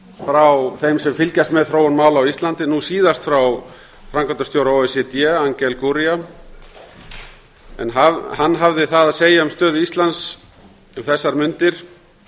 frá þeim sem fylgjast með þróun mála á íslandi nú síðast frá framkvæmdastjóra o e c d angel gurría en hann hafði það að segja um stöðu íslands um þessar mundir